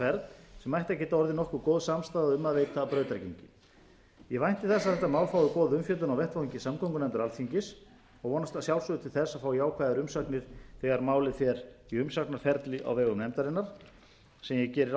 ferð sem ætti að geta orðið nokkuð góð samstaða um að geta brautargengi ég vænti þess að þetta mál fái góða umfjöllun á vettvangi samgöngunefndar alþingis og vonast að sjálfsögðu til þess að fá jákvæðar umsagnir þegar málið fer í umsagnaferli á vegum nefndarinnar sem ég geri